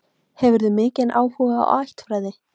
Hefurðu mikinn áhuga á ættfræði?